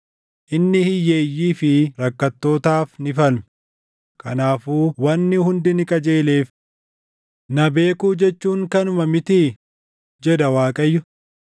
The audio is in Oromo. Inni hiyyeeyyii fi rakkattootaaf ni falme; kanaafuu wanni hundi ni qajeeleef. Na beekuu jechuun kanuma mitii?” jedha Waaqayyo.